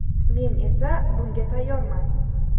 Men esa bunga tayyorman”.